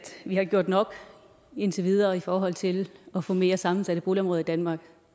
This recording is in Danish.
vi har gjort nok indtil videre i forhold til at få mere sammensatte boligområder i danmark